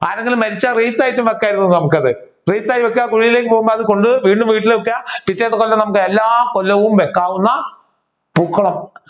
ആരെങ്കിലും മരിച്ചാൽ റീത്ത് ആയിട്ടും വെക്കാമായിരുന്നു നമ്മുക്ക് അത്. റീത്ത് ആയി വെക്കുക കുഴിയിലേക്ക് പോകുമ്പോൾ അതുകൊണ്ടുപോയി വീണ്ടും വീട്ടിൽ വെക്കുക പിറ്റേ കൊല്ലം നമ്മുക്ക് എല്ലാ കൊല്ലവും വെക്കാവുന്ന പൂക്കളം